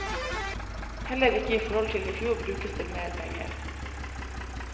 Heller ikke i forhold til i fjor brukes det mer penger.